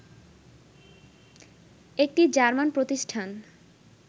একটি জার্মান প্রতিষ্ঠান